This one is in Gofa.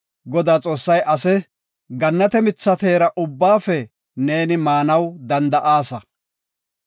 Godaa Xoossay ase, “Gannate mitha teera ubbaafe neeni maanaw danda7aasa.